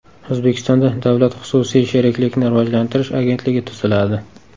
O‘zbekistonda Davlat-xususiy sheriklikni rivojlantirish agentligi tuziladi.